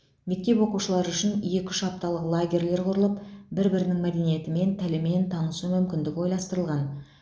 мектеп оқушылары үшін екі үш апталық лагерьлер құрылып бір бірінің мәдениетімен тілімен танысу мүмкіндігі ойластырылған